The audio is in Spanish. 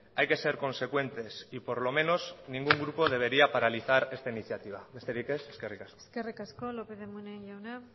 hay que ser consecuentes y por lo menos ningún grupo debería paralizar esta iniciativa besterik ez eskerrik asko eskerrik asko lópez de munain jauna